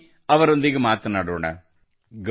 ಬನ್ನಿ ಅವರೊಂದಿಗೆ ಮಾತನಾಡೋಣ